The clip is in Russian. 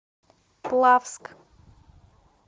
плавск